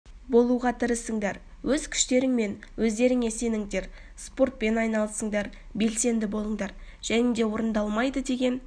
болуға тырысыңдар өз күштерің мен өздеріңе сеніңдер спортпен айналысыңдар белсенді болыңдар және де орындалмайды деген